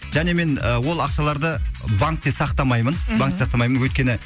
және мен ы ол ақшаларды банкте сақтамаймын банкте сақтамаймын өйткені